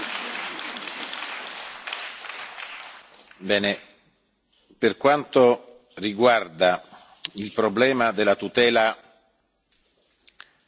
Per quanto riguarda il problema della tutela delle lingue usate da minoranze della popolazione dell'Ucraina,